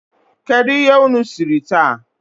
Kedu ihe unu siri taa?